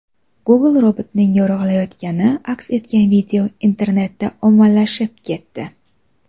Google robotining yo‘rg‘alayotgani aks etgan video internetda ommalashib ketdi .